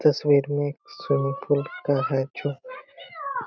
तस्वीर में swimming pool का है चु--